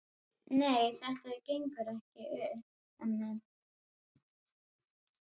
Nei, þetta gengur ekki upp, Hemmi!